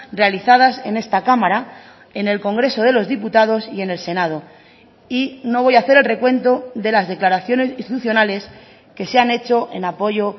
realizadas en esta cámara en el congreso de los diputados y en el senado y no voy a hacer el recuento de las declaraciones institucionales que se han hecho en apoyo